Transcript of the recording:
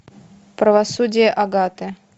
правосудие агаты